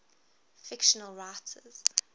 fictional writers